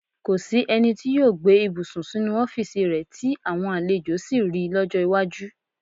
Kò sí ẹni tí yóò gbé ibùsùn sínú ọ́fíìsì rẹ tí àwọn àlejò sì ri lọ́jọ́ iwájú.